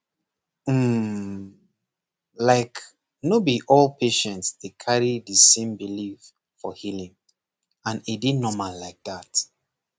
um like no be all patient dey carry the same belief for healing and e dey normal like that